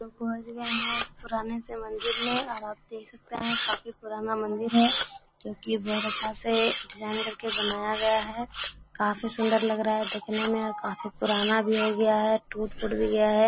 लोग पहुंच गये हैं इस पुराने से मंदिर में और आप देख सकते है काफी पुराना मंदिर है जो की बहुत अच्छा से डिज़ाइन करके बनाया गया है काफी सुन्दर लग रहा है देखने में और काफी पुराना भी हो गया है टूट-फूट भी गया है।